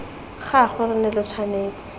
gagwe lo ne lo tshwanetse